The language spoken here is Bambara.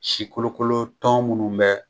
Si kolokolo tɔn munnu bɛ